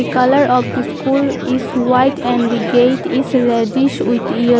Colour of the school is white and the gate is reddish with yell --